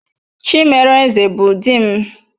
Chimereze bụ di m.